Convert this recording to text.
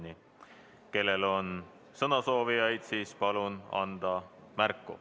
Kui kellelgi on sõnasoovi, siis palun anda märku.